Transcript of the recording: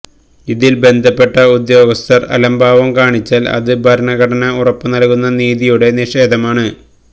ഇതില് ബന്ധപ്പെട്ട ഉദ്യോഗസ്ഥര് അലംഭാവം കാണിച്ചാല് അത് ഭരണഘടന ഉറപ്പുനല്കുന്ന നീതിയുടെ നിഷേധമാണ്